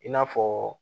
I n'a fɔ